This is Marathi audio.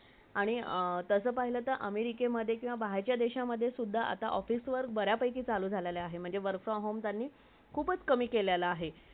आणि तसे पहिले तर अमेरिके मदे बहेरच्या देशमदे सुद्धा office work बरं पेकी चालू झालेला आहे म्हणजे work from home खूपच कमी केलेला आहे